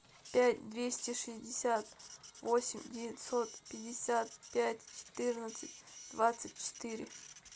пять двести шестьдесят восемь девятьсот пятьдесят пять четырнадцать двадцать четыре